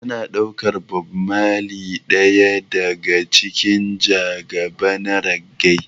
Ana ɗaukar Bob marley ɗaya daga cikin majagaba na reggae.